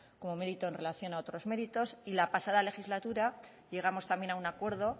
como mérito en relación a otros méritos y la pasada legislatura llegamos también a un acuerdo